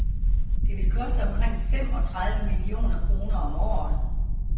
Det vil koste omkring fem og tredive millioner kroner om året.